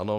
Ano.